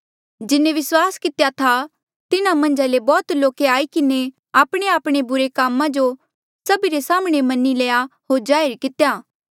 जिन्हें विस्वास कितेया था तिन्हा मन्झा ले बौहत लोके आई किन्हें आपणेआपणे बुरे कामा जो सभी रे साम्हणें मनी लया होर जाहिर कितेया